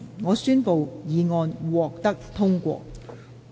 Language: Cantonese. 我宣布議案獲得通過。